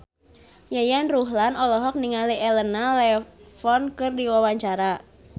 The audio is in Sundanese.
Yayan Ruhlan olohok ningali Elena Levon keur diwawancara